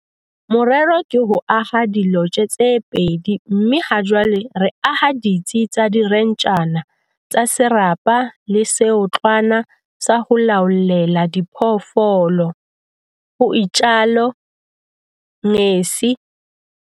"Morero ke ho aha dilotje tse pedi mme hajwale re aha ditsi tsa direnjara tsa serapa le seotlwana sa ho laollela diphoofolo," ho itsalo Ngesi.